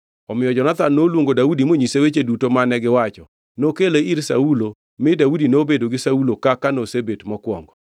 Omiyo Jonathan noluongo Daudi monyise weche duto mane giwacho. Nokele ir Saulo, mi Daudi nobedo gi Saulo kaka nosebet mokwongo.